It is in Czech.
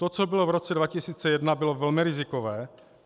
To, co bylo v roce 2001, bylo velmi rizikové.